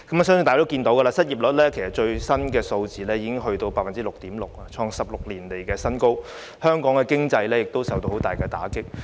相信大家已經知道，最新公布的失業率已達到 6.6%， 創下16年來新高，香港經濟亦受到十分嚴重的打擊。